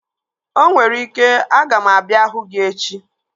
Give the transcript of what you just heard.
Onwere ike, aga m abịa hụ gị echi